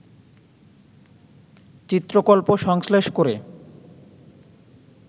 চিত্রকল্প সংশ্লেষ করে